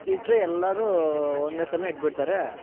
ಇಟ್ರೆ ಎಲ್ಲರು ಒಂದೇ ಸಲನೆ ಇಟ್ ಬಿಡ್ತಾರೆ.